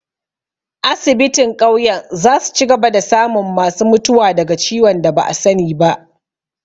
Asibitin ƙauyen za su cigaba da samun ma su mutuwa daga ciwon da ba'a sani ba